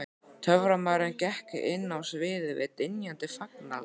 Töframaðurinn gekk inn á sviðið við dynjandi fagnaðarlæti.